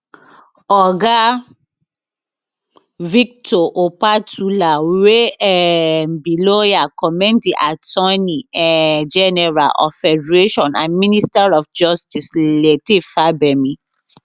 oga victor opatola wey um be lawyer commend di attorney um general of federation and minister of justice lateef fagbemi